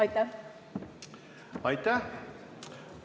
Aitäh!